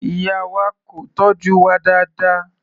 Ìyá wa kò tọ́jú wa dáadáa.